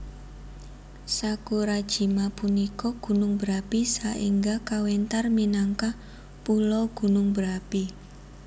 Sakurajima punika gunung berapi saéngga kawéntar minangka pulo gunung berapi